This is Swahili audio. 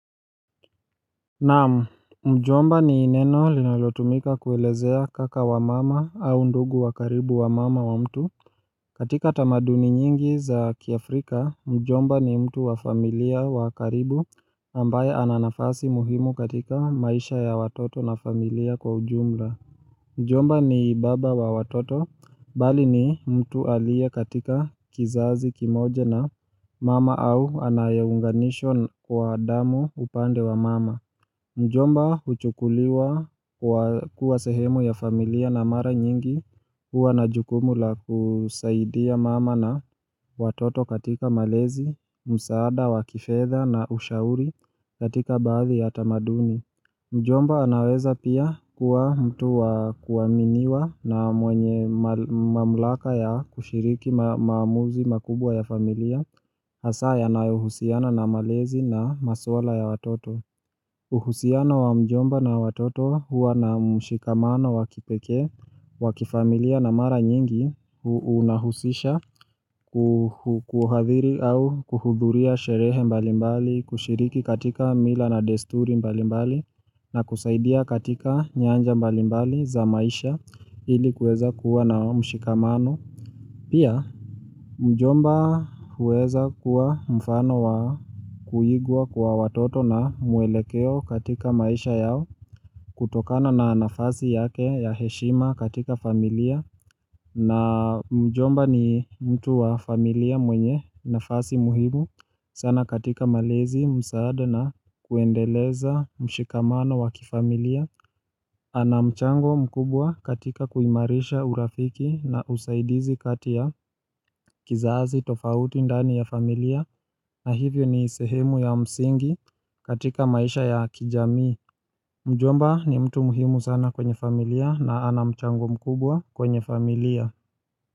Naamu, mjomba ni neno linalotumika kuelezea kaka wa mama au ndugu wa karibu wa mama wa mtu katika tamaduni nyingi za kiafrika, mjomba ni mtu wa familia wa karibu ambaye ananafasi muhimu katika maisha ya watoto na familia kwa ujumla Mjomba ni baba wa watoto, bali ni mtu alieye katika kizazi kimoja na mama au anayeunganishwa kwa damu upande wa mama Mjomba huchukuliwa kuwa sehemu ya familia na mara nyingi huwa na jukumu la kusaidia mama na watoto katika malezi, msaada, wakifedha na ushauri katika baadhi ya tamaduni Mjomba anaweza pia kuwa mtu wa kuaminiwa na mwenye mamlaka ya kushiriki maamuzi makubwa ya familia Hasa yanayo husiana na malezi na maswala ya watoto uhusiano wa mjomba na watoto huwa na mshikamano wakipeke wa kifamilia na mara nyingi unahusisha kuhadhiri au kuhudhuria sherehe mbalimbali kushiriki katika mila na desturi mbalimbali na kusaidia katika nyanja mbalimbali za maisha ili kuweza kuwa na mshikamano Pia mjomba huweza kuwa mfano wa kuigwa kwa watoto na muelekeo katika maisha yao kutokana na nafasi yake ya heshima katika familia na mjomba ni mtu wa familia mwenye nafasi muhimu sana katika malezi msaada na kuendeleza mshikamano wa kifamilia ana mchango mkubwa katika kuimarisha urafiki na usaidizi kati ta kizazi tofauti ndani ya familia na hivyo ni sehemu ya msingi katika maisha ya kijamii Mjomba ni mtu muhimu sana kwenye familia na ana mchango mkubwa kwenye familia.